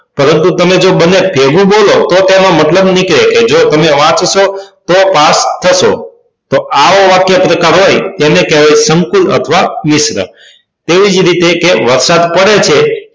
પરંતુ તમે જો બંને ભેગું બોલો તો તેનો મતલબ નીકળે છે જો તમે વાંચશો તો પાસ થશો તો આવો વાક્ય પ્રકાર હોય તેને કહેવાય સંકૂલ અથવા મિશ્ર તેવી જ રીતે કે વરસાદ પડે છે